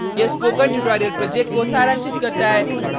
यह spoken tutorial project को सारांशित करता है